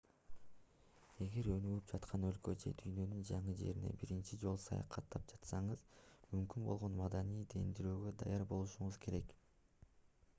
эгер өнүгүп жаткан өлкөгө же дүйнөнүн жаңы жерине биринчи жолу саякаттап жатсаңыз мүмкүн болгон маданий дендирөөгө даяр болушуңуз керек